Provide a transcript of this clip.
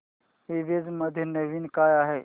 ईबझ मध्ये नवीन काय आहे